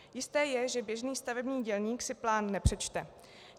Jisté je, že běžný stavební dělník si plán nepřečte.